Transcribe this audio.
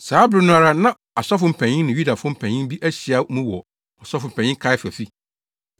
Saa bere no ara na asɔfo mpanyin ne Yudafo mpanyin bi ahyia mu wɔ Ɔsɔfopanyin Kaiafa fi,